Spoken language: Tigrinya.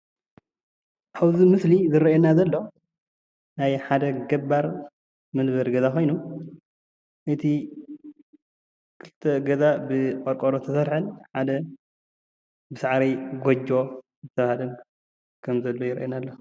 ኣብዚ ምስሊ ዝረአየና ዘሎ ናይ ሓደ ገባር መንበሪ ገዛ ኮይኑ እቲ ክልተ ገዛ ብቆርቆሮ ዝተሰርሐን ሓደ ብሳዕሪ ጎጆ ዝተሰርሐ ከም ዘሎ የርእየና ኣሎ፡፡